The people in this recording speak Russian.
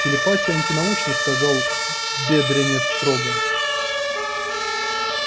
телепатия антинаучна сказал бедренец строго